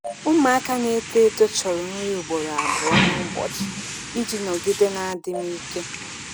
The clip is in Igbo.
Ụmụaka na-eto eto chọrọ nri ugboro abụọ n'ụbọchị iji nọgide na adịm ike.